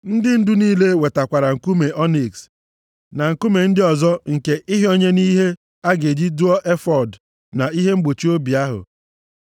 Ndị ndu niile wetakwara nkume ọniks na nkume ndị ọzọ nke ịhịọnye nʼihe a ga-eji dụọ efọọd na ihe mgbochi obi ahụ.